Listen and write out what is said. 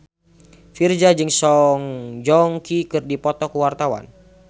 Virzha jeung Song Joong Ki keur dipoto ku wartawan